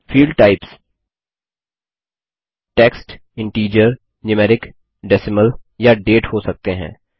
field types text integer numeric decimal या date हो सकते हैं